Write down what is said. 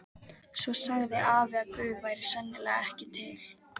Svo sagði afi að Guð væri sennilega ekki til.